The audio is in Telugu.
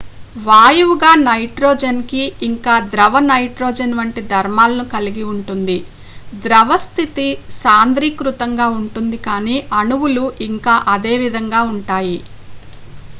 వాయువుగా నైట్రోజన్ కి ఇంకా ద్రవ నైట్రోజన్ వంటి ధర్మాలని కలిగి ఉంటుంది ద్రవ స్థితి సాంద్రీకృతంగా ఉంటుంది కాని అణువులు ఇంకా అదే విధంగా ఉంటాయి